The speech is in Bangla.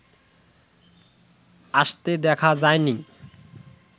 আসতে দেখা যায়নি